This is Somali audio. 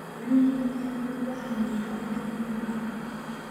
Kalluunku aad buu u caawiyaa adduunka oo dhan.